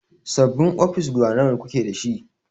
Sabin ofis guda nawa kuke dashi?